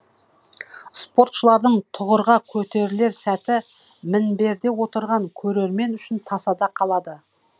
спортшылардың тұғырға көтерілер сәті мінберде отырған көрермен үшін тасада қалады